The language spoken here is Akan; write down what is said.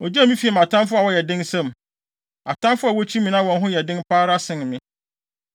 Ogyee me fii mʼatamfo a wɔyɛ den nsam, atamfo a wokyi me na wɔn ho yɛ den pa ara sen me.